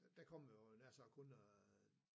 Der kommer jo nær sagt kun øh